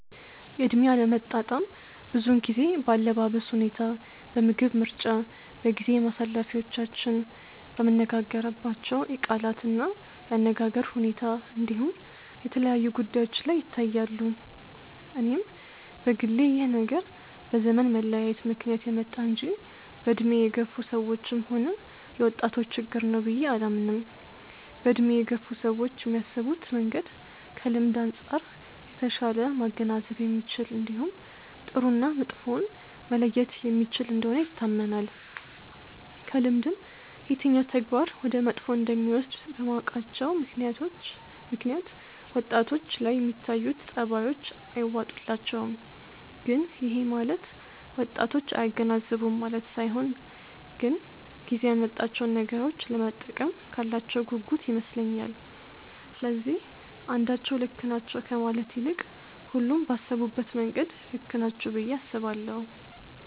የእድሜ አለመጣጣም ብዙውን ጊዜ በአለባበስ ሁኔታ፣ በምግብ ምርጫ፣ በጊዜ ማሳለፊያዎቻችን፣ በምንነጋገርባቸው የቃላት እና የአነጋገር ሁኔታ እንዲሁም የተለያዩ ጉዳዮች ላይ ይታያሉ። እኔም በግሌ ይህ ነገር በዘመን መለያየት ምክንያት የመጣ እንጂ በእድሜ የገፋ ሰዎችም ሆነ የወጣቶች ችግር ነው ብዬ አላምንም። በእድሜ የገፉ ሰዎች የሚያስቡበት መንገድ ከልምድ አንጻር የተሻለ ማገናዘብ የሚችል እንዲሁም ጥሩ እና መጥፎውን መለየት የሚችል እንደሆነ ይታመናል። ከልምድም የትኛው ተግባር ወደ መጥፎ እንደሚወስድ በማወቃቸው ምክንያት ወጣቶች ላይ የሚታዩት ጸባዮች አይዋጡላቸውም። ግን ይሄ ማለት ወጣቶች አያገናዝቡም ማለት ሳይሆን ግን ጊዜው ያመጣቸውን ነገሮች ለመጠቀም ካላቸው ጉጉት ይመስለኛል። ስለዚህ አንዳቸው ልክ ናቸው ከማለት ይልቅ ሁሉም ባሰቡበት መንገድ ልክ ናቸው ብዬ አስባለሁ።